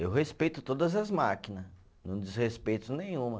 Eu respeito todas as máquina, não desrespeito nenhuma.